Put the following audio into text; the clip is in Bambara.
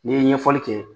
N'i ye ɲɛfɔli kɛ